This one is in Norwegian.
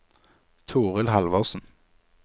Toril Halvorsen